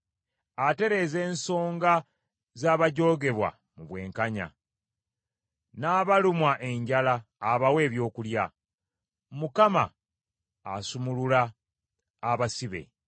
Atereeza ensonga z’abajoogebwa mu bwenkanya, n’abalumwa enjala abawa ebyokulya. Mukama asumulula abasibe.